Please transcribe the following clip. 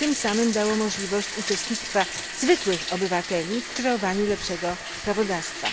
i tym samym dało możliwość uczestnictwa zwykłych obywateli w kreowaniu lepszego prawodawstwa.